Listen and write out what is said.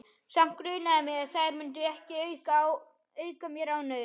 Samt grunaði mig að þær myndu ekki auka mér ánægju.